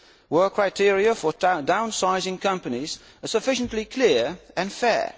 Work criteria for downsizing companies are sufficiently clear and fair.